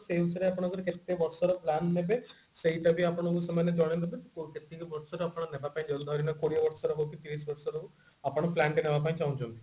ସେଇ ହିସାବରେ ଆପଣ କେତେ ବର୍ଷର plan ନେବେ ସେଇଟା ବି ଆପଣଙ୍କୁ ସେମାନେ ଜଣେଇଦେବେ କୋଉ କେତିକି ବର୍ଷର ଆପଣ ନେବା ପାଇଁ ଚାହୁଞ୍ଚନ୍ତି ଧରି ନିଅନ୍ତୁ କୋଡିଏ ବର୍ଷର ହଉ କି ତିରିଶି ବର୍ଷର ହଉ ଆପଣ plan ତେ ନେବା ପାଇଁ ଚାହୁଞ୍ଚନ୍ତି